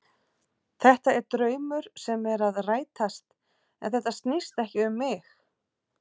Þetta er draumur sem er að rætast en þetta snýst ekki um mig.